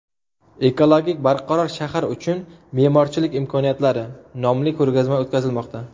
Ekologik barqaror shahar uchun me’morchilik imkoniyatlari” nomli ko‘rgazma o‘tkazilmoqda.